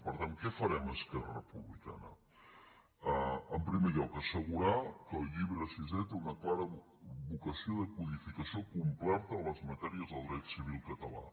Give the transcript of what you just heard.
per tant què farem esquerra republicana en primer lloc assegurar que el llibre sisè té una clara vocació de codificació completa de les matèries del dret civil català